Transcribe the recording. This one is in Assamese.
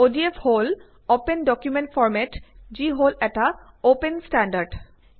অডিএফ হল অপেন ডকুমেন্ট ফৰ্মেট যি হল এটা অপেন ষ্টেণ্ডাৰ্ড